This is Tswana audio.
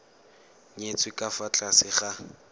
nyetswe ka fa tlase ga